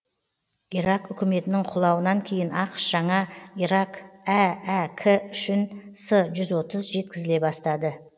ирак үкіметінің құлауынан кейін ақш жаңа ирак әәк үшін с жүз отыз жеткізіле бастады